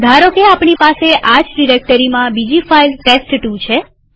ધારોકેઆપણી પાસે આ જ ડિરેક્ટરીમાં બીજી ફાઈલ ટેસ્ટ2 છે